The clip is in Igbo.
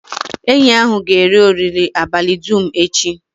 Enyi ahụ ga-eri oriri abalị dum echi.